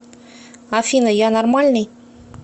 афина я нормальный